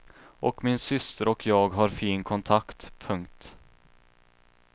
Och min syster och jag har fin kontakt. punkt